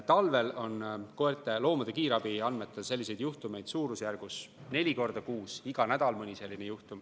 Talvel on loomade kiirabi andmetel selliseid juhtumeid umbes neli korda kuus, iga nädal mõni.